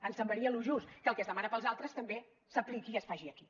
ens semblaria el més just que el que es demana per als altres també s’apliqui i es faci aquí